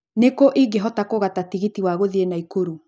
Nĩ kũ ingĩhota kũgata tigiti wa gũthiĩ naikuru